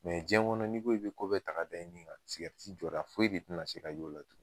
jiɲɛ kɔnɔ n'i, i be ko bɛɛ ta ka da i ni kan , jɔ da foyi de te na se ka ye o la tugun.